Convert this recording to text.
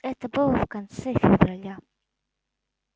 это было в конце февраля